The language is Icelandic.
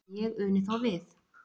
en ég uni þó við